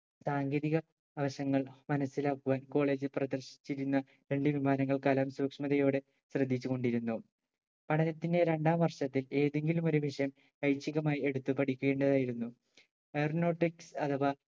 സാങ്കേതിക അവശങ്ങൾ മനസിലാക്കുവാൻ college ൽ പ്രദർശിച്ചിരുന്ന രണ്ട് വിമാനങ്ങൾ കലാം സൂക്ഷ്മതയോടെ ശ്രദ്ധിച്ചുകൊണ്ടിരുന്നു പഠനത്തിന്റെ രണ്ടാം വർഷത്തിൽ ഏതെങ്കിലും ഏതെങ്കിലും ഒരു വിഷയം ഐച്ഛികമായി എടുത്ത് പഠിക്കേണ്ടതായിരുന്നു aeronautic അഥവാ